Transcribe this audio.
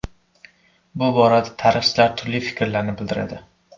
Bu borada tarixchilar turli fikrlarni bildiradi.